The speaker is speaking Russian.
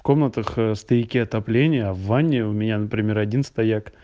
комнатах стояки отопления в ванне у меня например один стояк